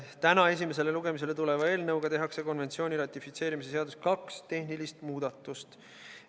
Täna esimesele lugemisele tuleva eelnõuga tehakse konventsiooni ratifitseerimise seadusesse kaks tehnilist muudatust.